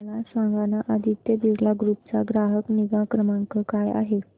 मला सांगाना आदित्य बिर्ला ग्रुप चा ग्राहक निगा क्रमांक काय आहे